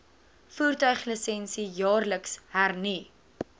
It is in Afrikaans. voertuiglisensie jaarliks hernu